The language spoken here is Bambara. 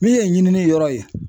Min ye ɲinini yɔrɔ ye